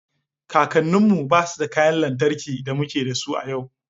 Kakanninmu ba su da kayan lantarki da muke da su a yau